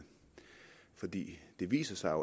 for det viser sig